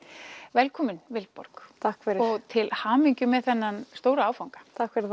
velkomin Vilborg og til hamingju með þennan stóra áfanga